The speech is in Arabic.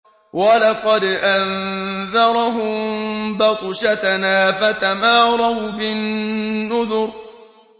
وَلَقَدْ أَنذَرَهُم بَطْشَتَنَا فَتَمَارَوْا بِالنُّذُرِ